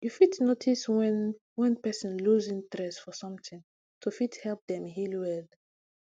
you fit notice wen wen person loose interest for something to fit help dem heal well